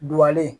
Duwawu